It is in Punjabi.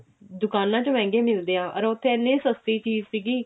ਦੁਕਾਨਾ ਚ ਮਹਿੰਗੇ ਮਿਲਦੇ ਆ ਅਰ ਉੱਥੇ ਇੰਨੇ ਸਸਤੀ ਚੀਜ਼ ਸੀਗੀ